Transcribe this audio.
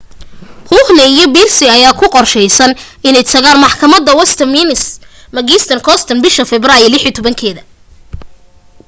huhne iyo pryce ayaa ku qorshaysan inay tagaan maxakamadda westminster magistrates court bisha febraayo 16